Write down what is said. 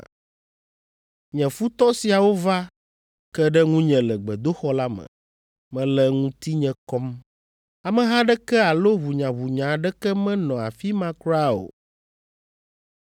Nye futɔ siawo va ke ɖe ŋunye le gbedoxɔ la me, mele ŋutinye kɔm. Ameha aɖeke alo ʋunyaʋunya aɖeke menɔ afi ma kura o.